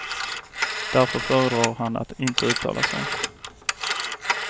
Därför föredrar han att inte uttala sig.